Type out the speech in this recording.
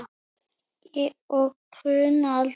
Og kulna aldrei.